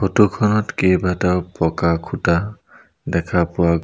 photo খনত কেইবাটাও বগা খুঁটা দেখা পোৱা --